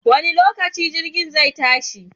Wanne lokaci jirgin zai tashi?